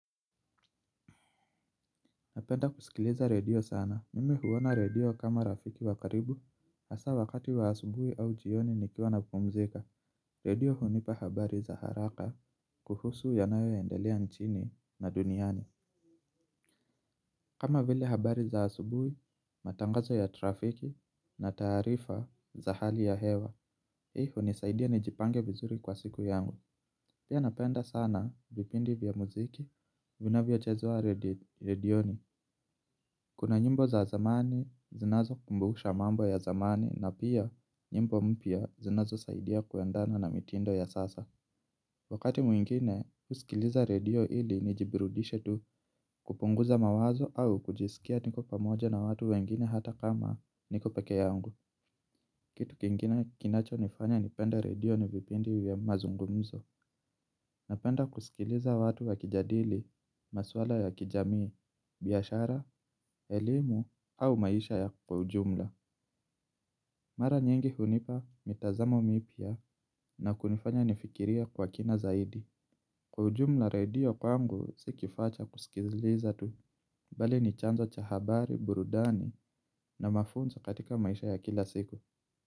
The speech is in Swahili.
Napenda kusikiliza redio sana. Mimi huona redio kama rafiki wa karibu, hasa wakati wa asubui au jioni nikiwa napumzika. Redio hunipa habari za haraka kuhusu yanayo endelea nchini na duniani. Kama vile habari za asubui, matangazo ya trafiki na taarifa za hali ya hewa, hii hunisaidia nijipange vizuri kwa siku yangu. Pia napenda sana vipindi vya muziki, vinavyo chezwa redioni. Kuna nyimbo za zamani zinazo kumbusha mambo ya zamani na pia nyimbo mpya zinazo saidia kuendana na mitindo ya sasa. Wakati mwingine, husikiliza redio ili nijiburudishe tu kupunguza mawazo au kujisikia tuko pamoja na watu wengine hata kama niko pekee yangu. Kitu kingine kinacho nifanya nipende redio ni vipindi vya mazungumzo. Napenda kusikiliza watu wakijadili, maswala ya kijamii, biashara, elimu au maisha ya kwa ujumla. Mara nyingi hunipa mitazamo mipya na kunifanya nifikirie kwa kina zaidi. Kwa ujumla redio kwangu si kifaa cha kusikiliza tu, bali ni chanzo cha habari, burudani na mafunzo katika maisha ya kila siku.